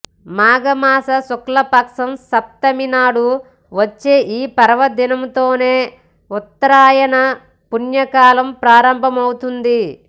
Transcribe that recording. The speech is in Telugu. మాఘ మాస శుక్లపక్షం సప్తమి నాడు వచ్చే ఈ పర్వదినంతోనే ఉత్తరాయణ పుణ్యకాలం ప్రారంభమవుతుంది